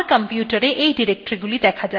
আমার কম্পিউটারএ এই ডিরেক্টরীগুলি দেখা যাচ্ছে